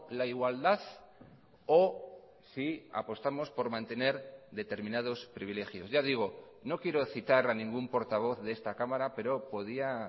la igualdad o si apostamos por mantener determinados privilegios ya digo no quiero citar a ningún portavoz de esta cámara pero podía